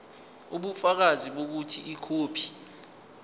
ubufakazi bokuthi ikhophi